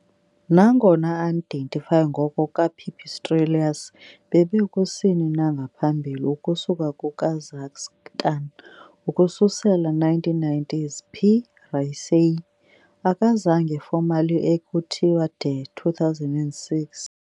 Nangona unidentified ngoko ka - "Pipistrellus" bebe kusini na ngaphambili ukusuka kuKazakhstan ukususela 1990s, "P. raceyi" akazange formally ekuthiwa de 2006.